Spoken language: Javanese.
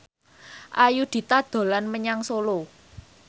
Ayudhita dolan menyang Solo